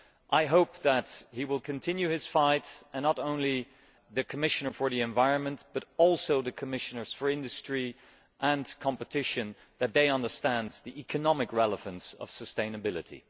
I hope that he will continue his fight and that not only the Commissioner for the Environment, but also the Commissioners for Industry and Competition understand the economic relevance of sustainability.